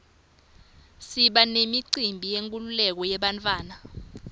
siba nemicimbi yenkululeko yebantfu